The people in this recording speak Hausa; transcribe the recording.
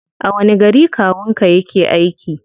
A wani gari kawun ka yake aiki?